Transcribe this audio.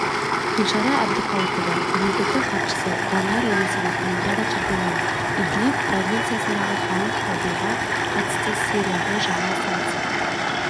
гүлшара әбдіқалықова мемлекеттік хатшысы данияр елеусінов олимпиада чемпионы идлиб провинциясындағы химиялық шабуылға қатысты сирияғы жаңа санкция